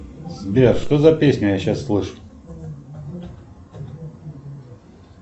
сбер что за песню я сейчас слышу